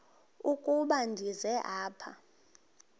ukuba ndize apha